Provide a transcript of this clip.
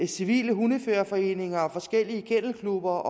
civile hundeførerforeninger forskellige kennelklubber